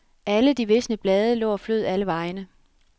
Alle de visne blade lå og flød alle vegne.